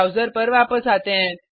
browser पर वापस आते हैं